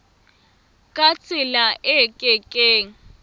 ka tsela e ke keng